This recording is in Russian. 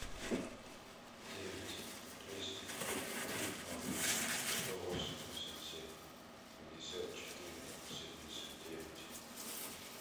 девять двести ноль сто восемьдесят семь пятьдесят четыре семьдесят девять